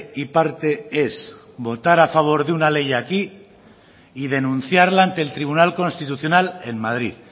y parte es votar a favor de una ley aquí y denunciarla ante el tribunal constitucional en madrid